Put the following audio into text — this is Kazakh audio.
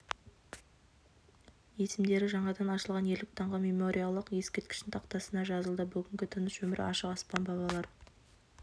есімдері жаңадан ашылған ерлік даңқы мемориалдық ескерткішінің тақтасына жазылды бүгінгі тыныш өмір ашық аспан бабалар